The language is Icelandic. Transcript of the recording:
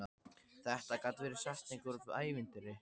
Þetta gat verið setning úr ævintýri.